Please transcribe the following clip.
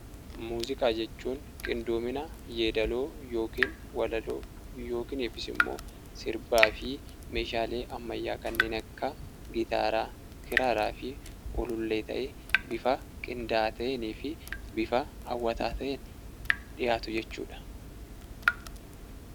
Muuziqaa jechuun qindoomina yeedaloo yookaan walaloo yookis ammoo sirbaafi meeshaalee ammayyaa kanneen akka gitaaraa, kiraaraafi ulullee ta'ee, bifa qindaa'aa ta'eefi bifa hawwataa ta'een dhiyaatu jechuudha.